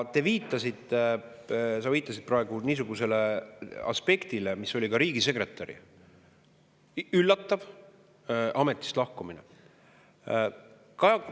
Sa viitasid praegu niisugusele aspektile nagu riigisekretäri üllatav ametist lahkumine.